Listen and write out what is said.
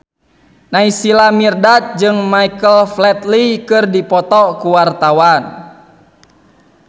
Naysila Mirdad jeung Michael Flatley keur dipoto ku wartawan